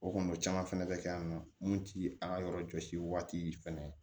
O kɔni o caman fɛnɛ bɛ kɛ yan nɔ mun ti an ka yɔrɔ jɔsi waati fɛnɛ